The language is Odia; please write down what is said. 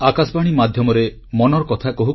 • ସ୍ୱଚ୍ଛତା ଆନ୍ଦୋଳନର ନେତୃତ୍ୱ ନେଇଛନ୍ତି ଗଣମାଧ୍ୟମ